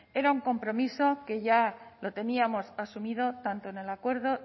era un compromiso que ya lo teníamos asumido tanto en el acuerdo